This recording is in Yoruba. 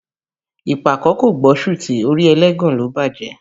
Ìpàkọ́ kò gbọ́ sùtì, orí ẹlẹ́gàn ló bájẹ̀